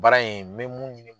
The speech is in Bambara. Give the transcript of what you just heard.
Baara in n bɛ mun